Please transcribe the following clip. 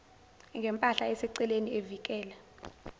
ngempahla eseceleni evikela